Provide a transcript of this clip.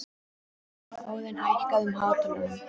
Óðinn, hækkaðu í hátalaranum.